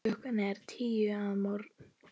Klukkan er tíu að morgni.